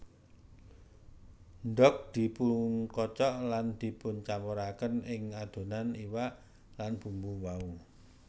Ndog dipunkocok lan dipuncampurkaken ing adonan iwak lan bumbu wau